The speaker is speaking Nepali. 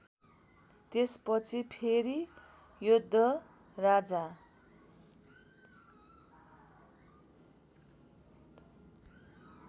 त्यसपछि फेरि योद्धराजा